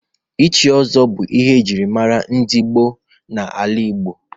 Ịchị ọzọ bụ ihe ejiri mara ndị gboo na-ala Igbo.